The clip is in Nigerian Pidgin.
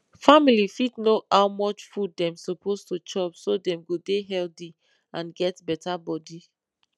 family fit know how much food dem suppose to chop so dem go dey healthy and get better body